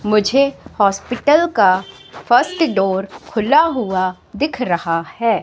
मुझे हॉस्पिटल का first door खुला हुआ दिख रहा है।